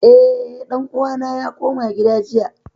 Eh, ɗan uwana ya koma gida jiya